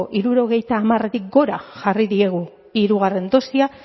hirurogeita hamaretik gora jarri diegu hirugarren dosia